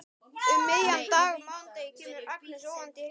Um miðjan dag á mánudegi kemur Agnes óvænt í heimsókn.